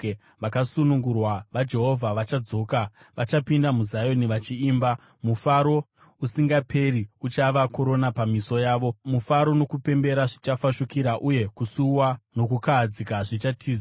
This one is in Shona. Vakasunungurwa vaJehovha vachadzoka. Vachapinda muZioni vachiimba; mufaro usingaperi uchava korona pamisoro yavo. Mufaro nokupembera zvichafashukira, uye kusuwa nokukahadzika zvichatiza.